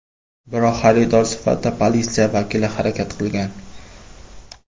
Biroq xaridor sifatida politsiya vakili harakat qilgan.